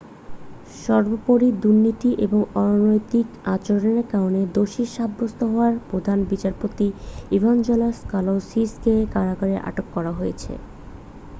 সর্বোপরি দুর্নীতি ও অনৈতিক আচরণের কারণে দোষী সাব্যস্ত হওয়ায় প্রধান বিচারপতি ইভাঞ্জেলাস কালাউসিস কে কারাগারে আটক করা হয়েছে